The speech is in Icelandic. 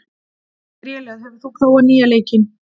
Grélöð, hefur þú prófað nýja leikinn?